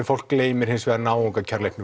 fólk gleymir hins vegar